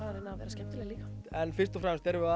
að reyna að vera skemmtileg líka en fyrst og fremst erum við